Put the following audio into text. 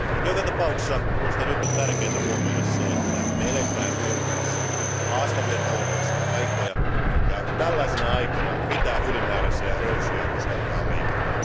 Mutta joka tapauksessa minusta nyt on tärkeätä huomioida se, että me elämme Euroopassa haastavia taloudellisia aikoja, ja tällaisina aikoina pitää ylimääräisiä rönsyjä uskaltaa leikata.